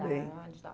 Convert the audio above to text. Muito bem.